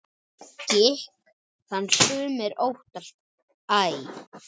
Gikk þann sumir óttast æ.